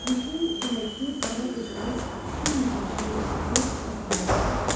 Yeşiyin içindəki qara qızılı Çin mücrüsünü götürdü, qapağını qaldırdı.